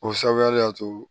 O sababuya de y'a to